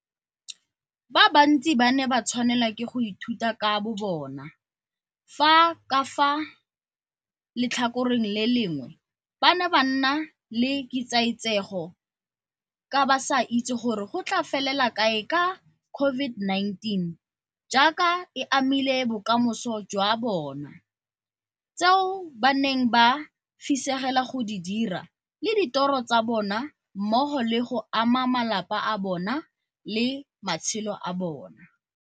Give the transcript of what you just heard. Ba bantsi ba ne ba tshwanelwa ke go ithuta ka bobona, fa ka fa letlhakoreng le lengwe ba ne ba na le ketsaetsego ka ba sa itse gore go tla felela kae ka COVID-19 jaaka e amile bokamoso jwa bona, tseo ba neng ba fisegela go di dira le ditoro tsa bona mmogo le go ama malapa a bona le matshelo a bona.